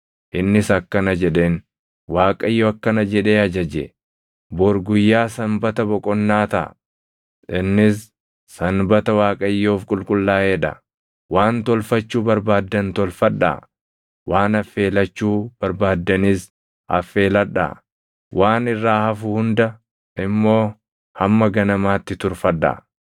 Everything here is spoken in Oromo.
Innis akkana jedheen; “ Waaqayyo akkana jedhee ajaje: ‘Bor guyyaa sanbata boqonnaa taʼa; innis sanbata Waaqayyoof qulqullaaʼee dha. Waan tolfachuu barbaaddan tolfadhaa; waan affeelachuu barbaaddanis affeeladhaa. Waan irraa hafu hunda immoo hamma ganamaatti turfadhaa.’ ”